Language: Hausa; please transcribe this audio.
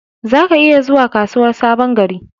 Za ka iya zuwa kasuwar Sabon gari.